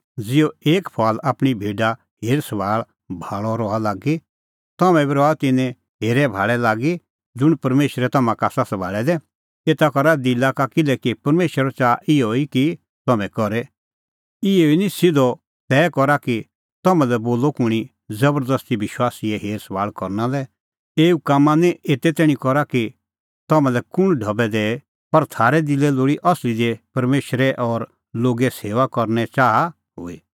ज़िहअ एक फुआल आपणीं भेडा हेरअभाल़अ रहा लागी तम्हैं बी रहा तिन्नां हेरैभाल़ै लागी ज़ुंण परमेशरै तम्हां का आसा सभाल़ै दै एता करा दिला का किल्हैकि परमेशर च़ाहा इहअ ई कि तम्हैं करे इहअ निं सिधअ तै करा कि तम्हां लै बोलअ कुंणी ज़बरदस्ती विश्वासीए हेरसभाल़ करना लै एऊ कामां निं एते तैणीं करा कि तम्हां लै कुंण ढबै दैए पर थारै दिलै लोल़ी असली दी परमेशरे और लोगे सेऊआ करने च़ाहा हुई